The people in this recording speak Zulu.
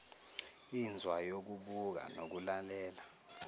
inzwa yokubuka nokulalela